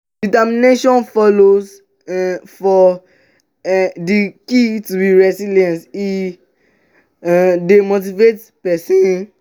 determination follow um for um di key to be resilience e um dey motivate pesin.